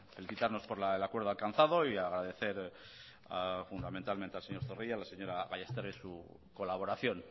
felicitarnos por el acuerdo alcanzado y agradecer fundamentalmente al señor zorrilla y a la señora gallastegui su colaboración